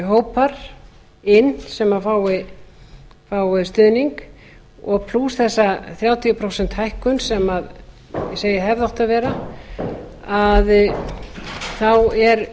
hópar inn sem fái stuðning og plús þessa þrjátíu prósent hækkun sem ég segi að hefði átt að vera er